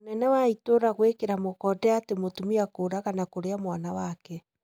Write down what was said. Mũnene wa itũra gũĩkĩra mũkonde atĩ mũtumia kũraga na kũrĩa mwana wake